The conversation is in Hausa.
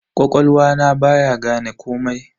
Ƙwaƙwalwa na baya gane komai.